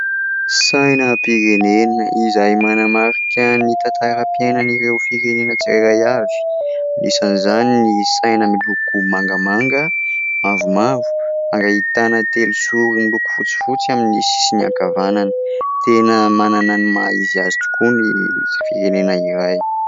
Sainam-pirenena izahay manamarika ny tantaram-piainana ireo firenena tsirairay avy, anisan' izany ny saina miloko mangamanga, mavomavo ary ahitana tely zoro miloko fotsifotsy amin'ny sisiny ankavanana. Tena manana ny maha-izy azy tokoa ny firenena iray.